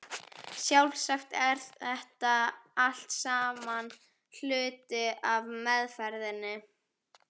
Sjálfsagt er þetta allt saman hluti af meðferðinni.